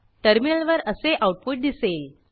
टर्मिनलवर असे आऊटपुट दिसेल